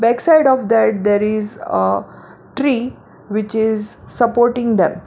Back side of that there is a tree which is supporting them.